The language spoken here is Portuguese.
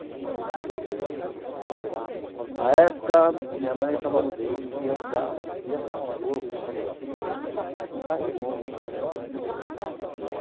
A época, minha mãe tava mu queria mudar, queria não, ela mudou para para um bairro longe.